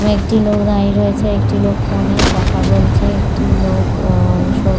ও একটি লোক দাঁড়িয়ে রয়েছে ও একটি লোক ফোন - এ কথা বলছে। একটি লোক ও সব--